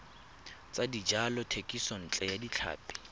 tsa dijalo thekisontle ya tlhapi